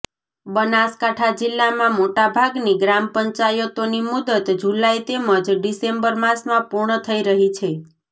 બનાસકાંઠા જિલ્લામાં મોટાભાગની ગ્રામપંચાયતોની મુદ્દત જુલાઈ તેમજ ડિસેમ્બર માસમાં પૂર્ણ થઈ રહી છે